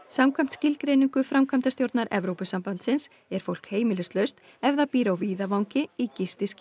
samkvæmt skilgreiningu framkvæmdastjórnar Evrópusambandsins er fólk heimilislaust ef það býr á víðavangi í